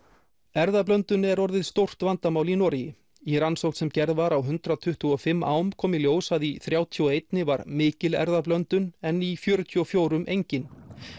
erfðablöndun er orðið stórt vandamál í Noregi í rannsókn sem gerð var á hundrað tuttugu og fimm ám kom í ljós að í þrjátíu og eitt var mikil erfðablöndun en í fjörutíu og fjögur engin